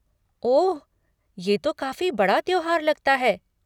ओह, ये तो काफ़ी बड़ा त्योहार लगता है।